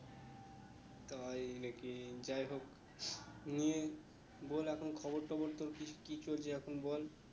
তাই না কি যাই হোক নিয়ে বল এখন খবর কেমন চলছে, কি চলছে এখন বল